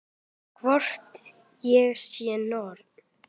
Hvort ég sé norn.